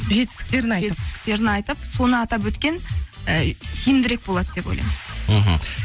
жетістікерін айтып жетістіктерін айтып соны атап өткен ы тиімдірек болады деп ойлаймын мхм